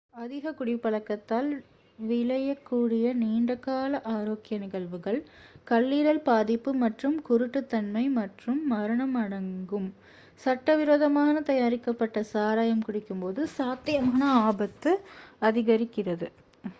அதிக குடிப் பழக்கத்தால் விளையக் கூடிய நீண்ட கால ஆரோக்கிய நிகழ்வுகள் கல்லீரல் பாதிப்பு மற்றும் குரூட்டுத்தன்மை மற்றும் மரணம் அடங்கும் சட்ட விரோதமாக தயாரிக்கப்பட்ட சாராயம் குடிக்கும் போது சாத்தியமான ஆபத்து அதிகரிக்கிறது